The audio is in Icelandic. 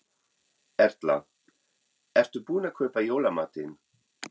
Erla: Ert þú búin að kaupa í jólamatinn?